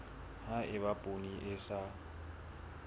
ha eba poone e sa